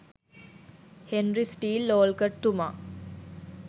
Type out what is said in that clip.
Henry Steel ඕල්කට්තුමා